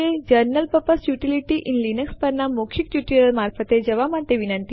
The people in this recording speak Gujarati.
આપણે પહેલાથી જ બીજા ટ્યુટોરીયલ માં જોયું હતું કે કેટ આદેશની મદદ થી ફાઈલ કેવી રીતે બનાવી શકાય છે